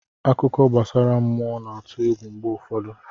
Akụkọ gbasara mmụọ na-atụ egwu mgbe ụfọdụ.